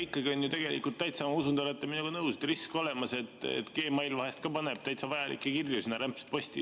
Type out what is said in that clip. Ikkagi on ju tegelikult olemas risk – ma usun, te olete minuga nõus –, et Gmail paneb täitsa vajalikke kirju rämpsposti.